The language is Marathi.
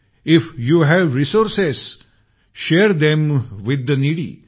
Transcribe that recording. if you have resources share them with the needy